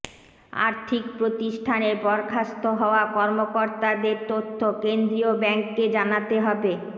আর্থিক প্রতিষ্ঠানের বরখাস্ত হওয়া কর্মকর্তাদের তথ্য কেন্দ্রীয় ব্যাংককে জানাতে হবে